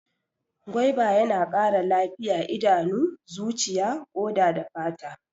Gwaiba yana ƙara lafiya idanu, zuciya, ƙoda da fata.